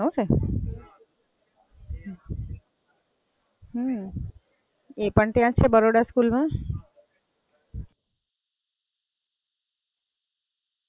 અચ્છા, એકલા જ છે ફોઇ.